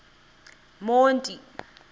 monti